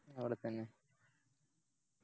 അവിടെത്തന്നെ